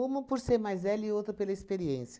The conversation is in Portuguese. Uma por ser mais velho e outro pela experiência.